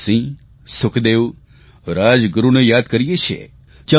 ભગતસિંહ સુખદેવ રાજગુરૂને યાદ કરીએ છીએ